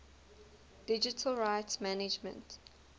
digital rights management